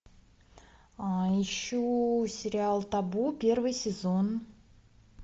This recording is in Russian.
ищу сериал табу первый сезон